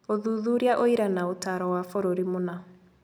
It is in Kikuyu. Ũthuthuria, ũira, na ũtaaro wa bũrũri mũna.